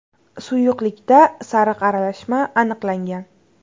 Suyuqlikda sariq aralashma aniqlangan.